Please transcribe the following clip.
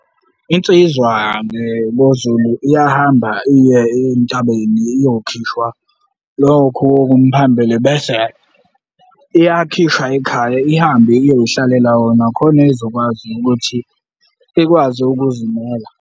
Insizwa ngelo Zulu iyahamba iye entabeni iyokhishwa lokhu okumphambili bese iyakhishwa ekhaya ihambe iyoy'hlalela wona khona izokwazi ukuthi ikwazi ukuzimela.